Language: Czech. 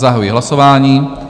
Zahajuji hlasování.